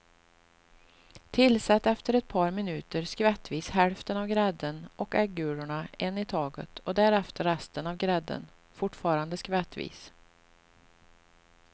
Tillsätt efter ett par minuter skvättvis hälften av grädden och äggulorna en i taget och därefter resten av grädden, fortfarande skvättvis.